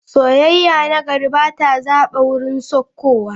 Sauyayya na gari ba ta zaba wurin saukowa.